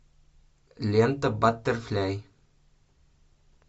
лента баттерфляй